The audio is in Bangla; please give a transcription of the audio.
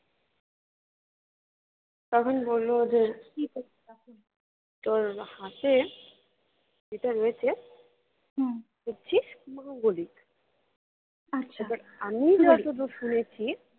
তখন বললো যে তোর হাতে যেটা রয়েছে মাঙ্গলিক আমি যত দূর শুনেছি